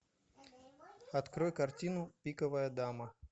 открой картину пиковая дама